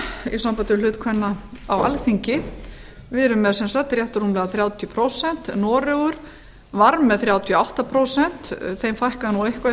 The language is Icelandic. í sambandi við hlut kvenna á alþingi við erum með sem sagt rétt rúmlega þrjátíu prósent noregur var með þrjátíu og átta prósent þeim fækkaði nú eitthvað í